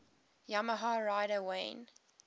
yamaha rider wayne